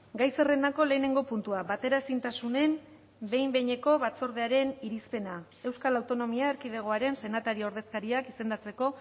gai zerrendako lehenengo puntua bateraezintasunen behin behineko batzordearen irizpena euskal autonomia erkidegoaren senatari ordezkariak izendatzeko